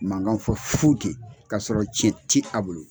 Mangan fɔ fu ten k'a sɔrɔ tiɲɛ ti a bolo.